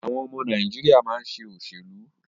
Àwọn ọmọ Nàìjíríà máa ṣe òṣèlú.